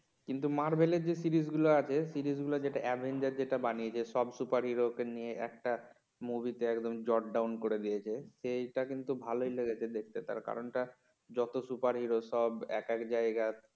কিন্তু মারভেল এর যে সিরিজগুলো আছে সিরিজগুলো যেটা আভেঞ্জার যেটা বানিয়েছে সব সুপার হিরোগুলো কে নিয়ে একটা মুভি তে একদম down করে দিয়েছি সেইটা কিন্তু ভালই লেগেছে দেখতে তার কারণ টা যত সুপার হিরো সব এক এক জায়গার